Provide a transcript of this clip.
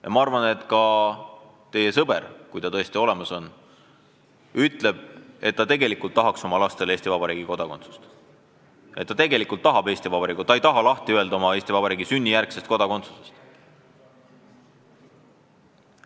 Ja ma arvan, et ka teie sõber, kui ta tõesti olemas on, ütleb, et ta tegelikult tahaks oma lastele Eesti Vabariigi kodakondsust, et ta ei taha lahti öelda sünnijärgsest Eesti kodakondsusest.